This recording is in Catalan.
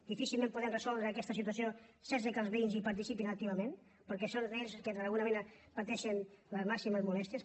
difícilment podem resoldre aquesta situació sense que els veïns hi participin activament perquè són ells els que d’alguna manera pateixen les màximes molèsties